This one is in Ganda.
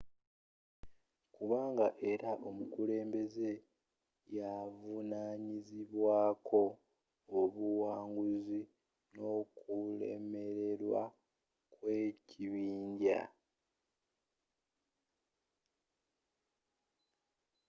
kubanga era omukulembeze yaavunanyizibwaako obuwanguzi n'okulemererwa kw'ekibinja